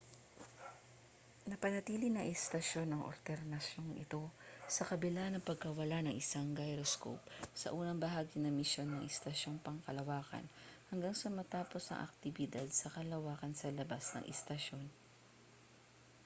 napanatili ng istasyon ang oryentasyon nito sa kabila ng pagkawala ang isang gyroscope sa unang bahagi ng misyon ng istasyong pangkalawakan hanggang sa matapos ang aktibidad sa kalawakan sa labas ng istasyon